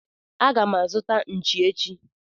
Agam azuta Nchi echi.